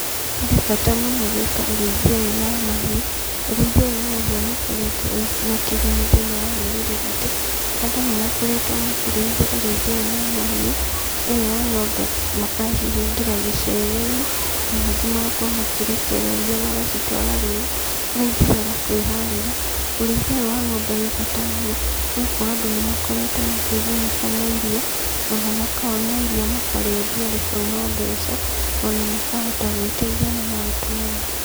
Harĩ bata mũno gũĩka ũrĩithia ũyũ wa mahiũ, ũrĩithia ũyũ wa mahiũ nĩ ũkoretwo wĩna kĩgũni thĩinĩ wa rũrĩrĩ ruitũ. Andũ nĩ makoretwo makĩrĩithia ũrĩithia ũyũ wa mahiũ, ũyũ wa ng'ombe makacihingĩra gĩcegũ-inĩ, nangĩ magakorwo magĩcirekereria rũru cithiaga kũĩharĩra. Ũrĩithia ũyũ wa ng'ombe ũri bata mũno, nĩgũkorwo andũ nĩ makoretwo makĩgunĩka na iria, ona makona iria na no-mbeca, makahota gũĩteithia n maũndũ mao.